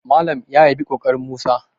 Malam ya yabi ƙoƙarin Musa